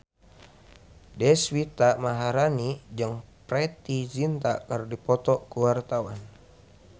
Deswita Maharani jeung Preity Zinta keur dipoto ku wartawan